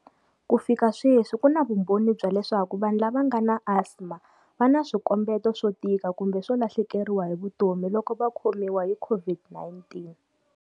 Ku fika sweswi, ku na vumbhoni bya leswaku vanhu lava va nga na asima va na swikombeto swo tika kumbe swo lahlekeriwa hi vutomi loko va khomiwa hi COVID-19.